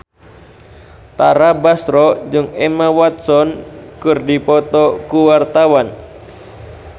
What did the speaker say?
Tara Basro jeung Emma Watson keur dipoto ku wartawan